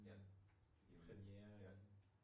Ja. Ja